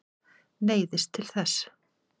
Neyðist til þess.